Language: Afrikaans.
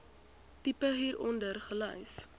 tipe hieronder gelys